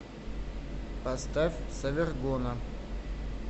поставь совергона